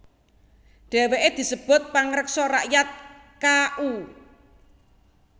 Dhèwèké disebut pangreksa rakyat Ka u